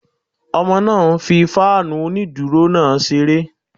Ọmọ náà ń fí fáànù onídúró náà ṣeré